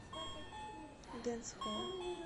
дэнсхолл